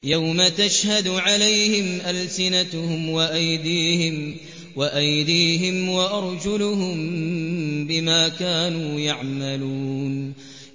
يَوْمَ تَشْهَدُ عَلَيْهِمْ أَلْسِنَتُهُمْ وَأَيْدِيهِمْ وَأَرْجُلُهُم بِمَا كَانُوا يَعْمَلُونَ